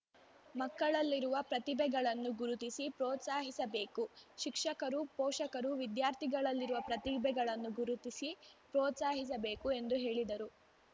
ಮಕ್ಕಳಲ್ಲಿರುವ ಪ್ರತಿಭೆಗಳನ್ನು ಗುರುತಿಸಿ ಪ್ರೋತ್ಸಾಹಿಸಬೇಕುಶಿಕ್ಷಕರುಪೋಷಕರುವಿದ್ಯಾರ್ಥಿಗಳಲ್ಲಿರುವ ಪ್ರತಿಭೆಗಳನ್ನು ಗುರುತಿಸಿ ಪ್ರೋತ್ಸಾಹಿಸಬೇಕು ಎಂದು ಹೇಳಿದರು